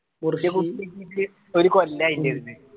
ഒരു കൊല്ലായി